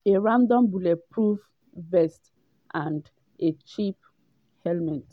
“a random bulletproof vest and a cheap helmet.